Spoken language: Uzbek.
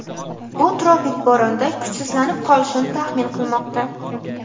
u tropik bo‘ronda kuchsizlanib qolishini taxmin qilmoqda.